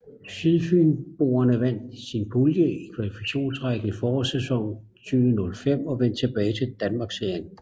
Sydfynboerne vandt sin pulje i Kvalifikationsrækken i forårssæsonen 2005 og vendte tilbage i Danmarksserien